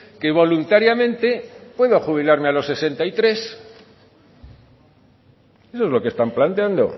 que voluntariamente puedo jubilarme a los sesenta y tres eso es lo que están planteando